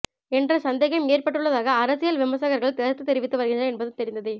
என்ற சந்தேகம் ஏற்பட்டுள்ளதாக அரசியல் விமர்சகர்கள் கருத்து தெரிவித்து வருகின்றனர் என்பதும் தெரிந்ததே